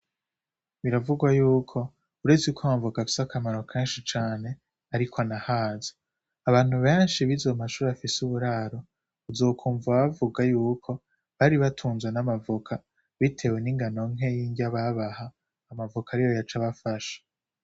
Biravurwa yuko uretse ko amavoka afise akamaro keshi cane ariko anahaza abantu beshi bize mu mashuri afise uburaro uzokumva bavuga yuko bari batunzwe n'amavoka bitewe n'ingano ntoyi y'indya babaha amavoka niyo yaca abafasha.